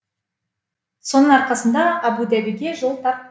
соның арқасында әбу дабиге жол тарттым